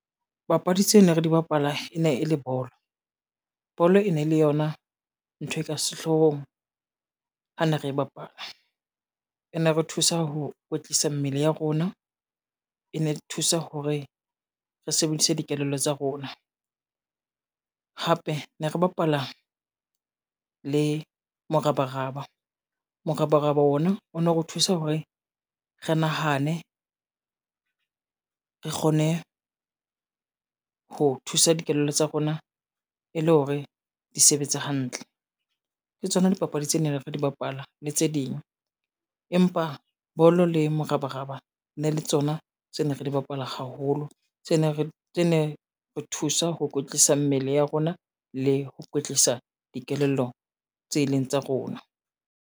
Papadi tseo ne re di bapala e ne e le bolo. Bolo e ne le yona ntho e ka sehloohong ha ne re bapala, e ne re thusa ho kwetlisa mmele ya rona, e ne thusa hore re sebedise dikelello tsa rona hape ne re bapala le morabaraba. Morabaraba ona o no re thusa hore re nahane, re kgone ho thusa dikelello tsa rona e le hore di sebetse hantle. Ke tsona dipapadi tse neng re di bapala le tse ding, empa bolo le morabaraba e ne le tsona tse ne re di bapala haholo tse ne re thusa ho kwetlisa mmele ya rona le ho kwetlisa dikelello tse e leng tsa rona.